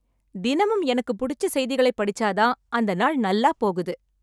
தினமும் எனக்கு புடிச்ச செய்திகளை படிச்சா தான் ,அந்த நாள் நல்லா போகுது.